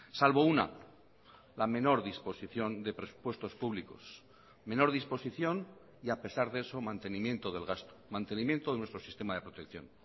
salvo una la menor disposición de presupuestos públicos menor disposición y a pesar de eso mantenimiento del gasto mantenimiento de nuestro sistema de protección